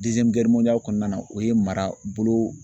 kɔnɔna na o ye marabolo.